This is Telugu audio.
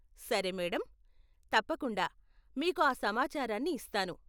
సరే మేడమ్ , తప్పకుండా మీకు ఆ సమాచారాన్ని ఇస్తాను.